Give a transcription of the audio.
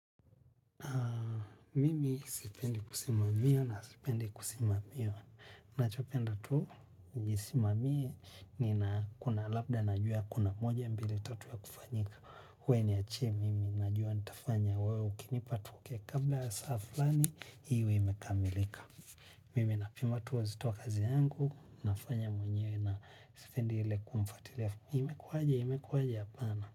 Mimi sipendi kusimamia na sipendi kusimamiwa. Nachopenda tu, nijisimamie ni na kuna labda najua kuna moja mbili tatu ya kufanyika. Wewe ni achie mimi, najua nitafanya wewe ukinipa tuokey kabla saa fulani, hiiiwe imekamilika. Mimi napimatu uzitowa kazi yangu, nafanya mwenye na sipendi ile kumfatilia. Imekuwaje hapana.